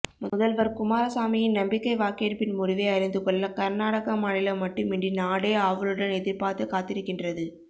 முதல்வர் குமாரசாமியின் நம்பிக்கை வாக்கெடுப்பின் முடிவை அறிந்து கொள்ள கர்நாடக மாநிலம் மட்டுமின்றி நாடே ஆவலுடன் எதிர்பார்த்து காத்திருக்கின்றது